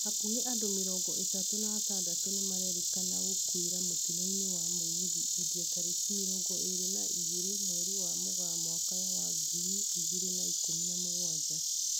Hakuhĩ andũ mĩrongo ĩtatũ na atandatũ nĩmarerĩkana gũkuĩra mũtino-inĩ wa mũgithi India tariki mirongo iri na igiri mweri wa mugaa mwaka wa ngiri igiri na ikumi na mugwanja.